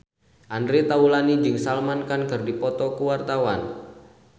Andre Taulany jeung Salman Khan keur dipoto ku wartawan